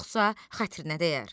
Yoxsa xətrinə dəyər.